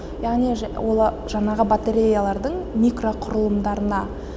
яғни жаңағы батареялардың микроқұрылымдарына